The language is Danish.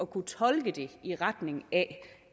kunne tolke i retning af